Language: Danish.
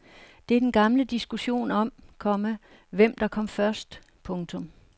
Det er den gamle diskussion om, komma hvem der kom først. punktum